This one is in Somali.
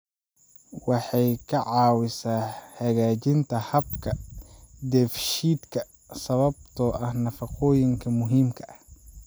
Waxay ka caawisaa hagaajinta habka dheefshiidka sababtoo ah nafaqooyinka muhiimka ah.